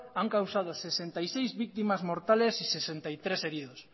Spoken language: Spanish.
han causado sesenta y seis víctimas mortales y sesenta y tres heridos